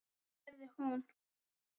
Hvað gerði hún?